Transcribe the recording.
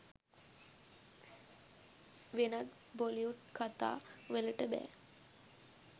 වෙනත් බොලිවුඩ් කතා වලට බෑ.